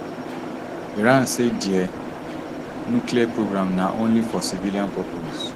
iran say dia nuclear programme na only for civilian purpose